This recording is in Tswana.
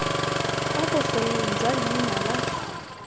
kwa bofelong jwa leina la